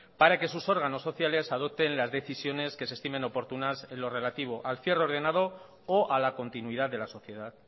para que sus órganos sociales adopten las decisiones que se estimen oportunas en lo relativo al cierre ordenado o a la continuidad de la sociedad